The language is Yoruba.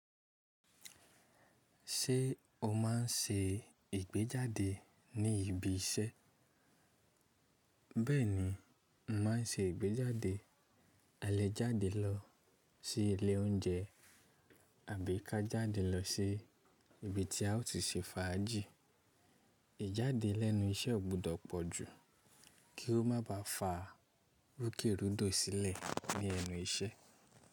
Ṣé o má ń ṣe ìgbéjáde ní ibi iṣẹ́? Bẹ́ẹ̀ni, mo ma ń ṣe ìgbéjáde. A lè jáde lọ sí ilé oúnjẹ àbí ká jáde lọ sí ibi tí a ó ti ṣe fàájì. Ìjáde lẹ́nu iṣẹ́ ò gbudọ̀ pọ̀ju kí o má ba fa rúkèrúdò sílẹ̀ ní ẹnu iṣẹ́.